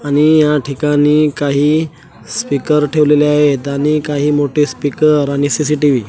आणि या ठिकाणी काही स्पीकर ठेवलेले आहेत आणि काही मोठे स्पीकर आणि सी_सी_टी_व्ही --